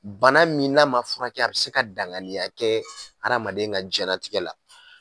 Bana min'a ma furakɛ a bɛ se ka dangaaniya kɛ adamaden ka diɲɛnatigɛ la.